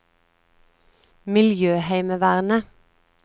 miljøheimevernet